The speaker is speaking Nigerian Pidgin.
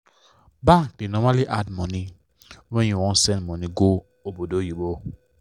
bank da normally add small money when u wan send money go obodoyibo